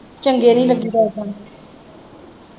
ਚੰਗੇ ਨਹੀਂ ਲੱਗੀ .